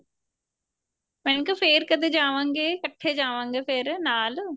ਮੇਂ ਕਿਹਾ ਫੇਰ ਕਦੇ ਜਾਵਾਂਗੇ ਇੱਕਠੇ ਜਾਵਾਂਗੇ ਫੇਰ ਨਾਲ